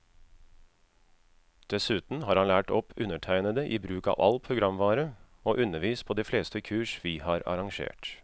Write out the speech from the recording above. Dessuten har han lært opp undertegnede i bruk av all programvare, og undervist på de fleste kurs vi har arrangert.